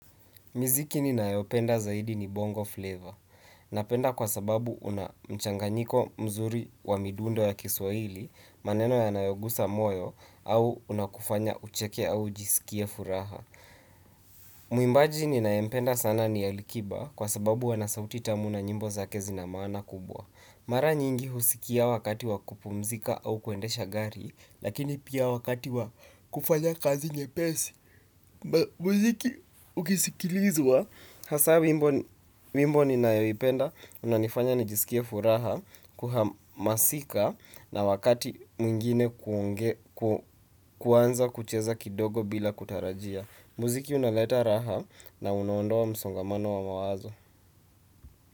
Muziki ninayopenda zaidi ni bongo flavor. Napenda kwa sababu una mchanganyiko mzuri wa midundo ya kiswahili maneno yanayogusa moyo au unakufanya ucheke au ujiskie furaha. Mwimbaji ninayempenda sana ni AliKiba kwa sababu ana sauti tamu na nyimbo zake zina maana kubwa. Mara nyingi huskia wakati wa kupumzika au kuendesha gari lakini pia wakati wa kufanya kazi nyepesi muziki ukisikilizwa. Hasa wimbo ninayoipenda, unanifanya nijiskie furaha kuhamasika na wakati mwingine kuanza kucheza kidogo bila kutarajia. Muziki unaleta raha na unaondoa msongamano wa mawazo.